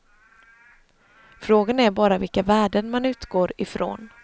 Frågan är bara vilka värden man utgår ifrån.